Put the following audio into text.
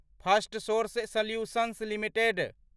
Firstsource solutions limited